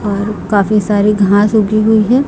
और काफी सारी घास उगी हुई है।